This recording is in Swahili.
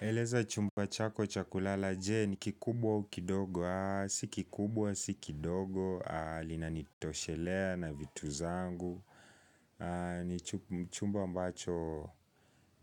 Eleza chumba chako cha kulala, je ni kikubwa au kidogo, si kikubwa, si kidogo, linanitoshelea na vitu zangu ni chumba ambacho,